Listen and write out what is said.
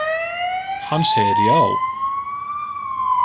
Hann segir já.